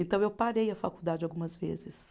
Então eu parei a faculdade algumas vezes.